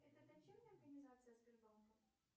это дочерняя организация сбербанка